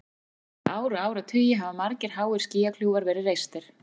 Síðustu ár og áratugi hafa margir háir skýjakljúfar verið reistir.